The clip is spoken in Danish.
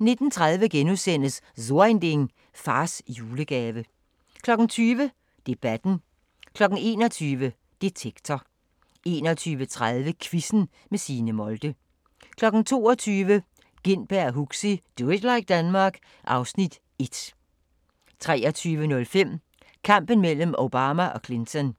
19:30: So Ein Ding: Fars julegave * 20:00: Debatten 21:00: Detektor 21:30: Quizzen med Signe Molde 22:00: Gintberg og Huxi – Do it like Denmark (Afs. 1) 23:05: Kampen mellem Obama og Clinton